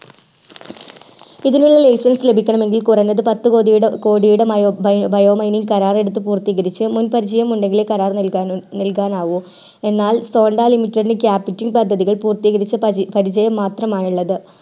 ഇതിനുള്ള license ലഭിക്കണമെകിൽ കുറഞ്ഞത് പത്ത് കോടിയുടെ bio mining കരാർ എടുത്ത് പൂർത്തീകരിച്ചു മുൻ പരിചയം ഉണ്ടങ്കിലേ കരാർ നൽകാൻ ആകു എന്നാൽ sonda limited ൻറെ capiting പദ്ധതികൾ പൂർത്തീകരിച്ച പരിചയം മാത്രമാണ് ഉള്ളത്